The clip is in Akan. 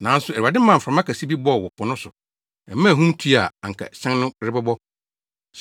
Nanso Awurade maa mframa kɛse bi bɔɔ wɔ po no so; ɛmaa ahum tui a, anka hyɛn no rebɛbɔ.